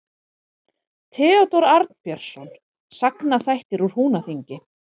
Theódór Arnbjörnsson: Sagnaþættir úr Húnaþingi.